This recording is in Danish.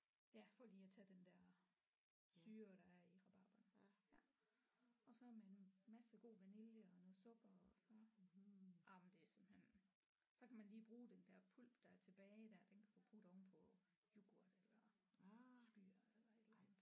Ja for lige at tage den der syre der i rabarberen ja og så med en masse god vanilje og noget sukker og så jamen det er simpelthen så kan man lige bruge den der pulp der er tilbage der den kan du putte ovenpå yoghurt eller skyr eller et eller andet